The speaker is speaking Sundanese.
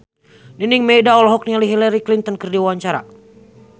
Nining Meida olohok ningali Hillary Clinton keur diwawancara